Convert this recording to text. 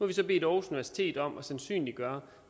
vi så bedt aarhus universitet om at sandsynliggøre